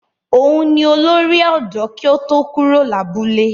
Òun ni olórí ọ̀dọ́ kí ó tó kúrò lábúlé.